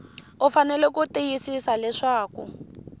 u fanele ku tiyisisa leswaku